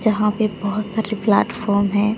जहां पे बहोत सारे प्लेटफार्म है।